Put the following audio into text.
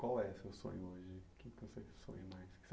Qual é o seu sonho hoje? O que que você sonha mais que você